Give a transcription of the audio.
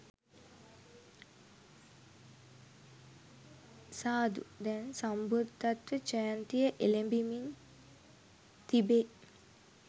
සාදු දැන් සම්බුද්ධත්ව ජයන්තිය එළඹෙමින් තිබේ.